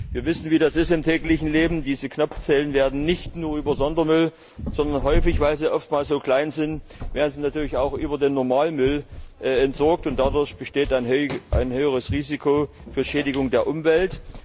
Wir wissen, wie das ist im täglichen Leben, diese Knopfzellen werden nicht nur über Sondermüll, sondern häufig weil sie oftmals so klein sein natürlich auch über den normalen Müll entsorgt, und dadurch besteht ein höheres Risiko für Schädigung der Umwelt.